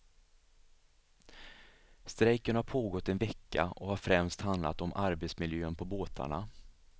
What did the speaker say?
Strejken har pågått en vecka och har främst handlat om arbetsmiljön på båtarna.